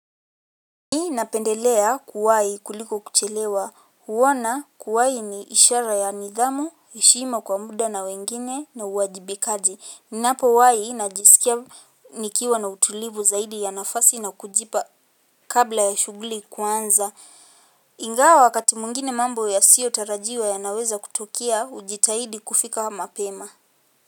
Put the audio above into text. Ni napendelea kuwahi kuliko kuchelewa. Huona kuwai ni ishara ya nidhamu, heshima kwa muda na wengine na uajibikaji. Ninapowai na jisikia nikiwa na utulivu zaidi ya nafasi na kujipa kabla ya shuguli kuanza. Ingawa wakati mwingine mambo ya sio tarajiwa ya naweza kutukia hujitaidi kufika mapema.